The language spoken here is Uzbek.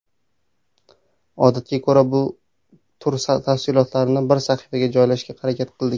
Odatga ko‘ra tur tafsilotlarini bir sahifaga joylashga harakat qildik.